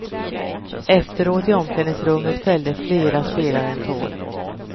Efteråt i omklädningsrummet fällde flera spelare en tår.